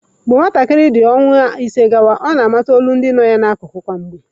Mgbe nwa ọhụrụ dị ọnwa ise gawa, ọ na-amata olu nọ ya n'akụkụ kwa mgbe.